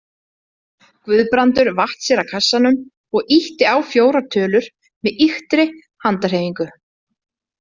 Guðbrandur vatt sér að kassanum og ýtti á fjórar tölur með ýktri handarhreyfingu.